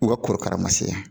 N go korokara ma se yan